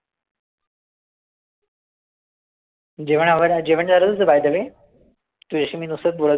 जेवण आवरलं जेवण झालं तुझं bye the way तुझ्याशी मी नुसतच बोलत बस